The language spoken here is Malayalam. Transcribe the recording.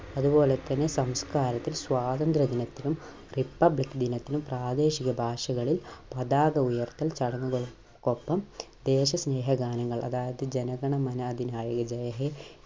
അതുപോലെ തന്നെ സംസ്കാരത്തിൽ സ്വാതന്ത്ര്യ ദിനത്തിലും republic ദിനത്തിലും പ്രാദേശിക ഭാഷകളിൽ പതാക ഉയർത്തൽ ചടങ്ങുകൾക്കൊപ്പം ദേശസ്നേഹ ഗാനങ്ങൾ അതായത് ജനഗണമന അതിനായക ജയഹേ